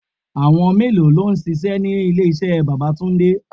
Àwọn mélòó lọ ń ṣíṣe ní ilé iṣẹ́ bàbá túndé?